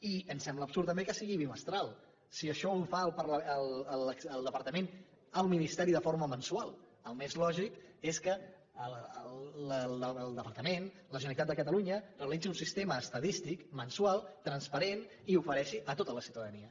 i ens sembla absurd també que sigui bimestral si això ho fa el departament al ministeri de forma mensual el més lògic és que el departament la generalitat de catalunya realitzi un sistema estadístic mensual transparent i l’ofereixi a tota la ciutadania